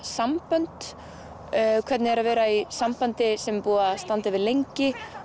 sambönd hvernig er að vera í sambandi sem er búið að standa yfir lengi